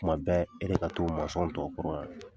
Kuman bɛɛ e de ka to mɔsɔn tɔw kɔrɔ yan.